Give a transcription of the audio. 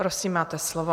Prosím, máte slovo.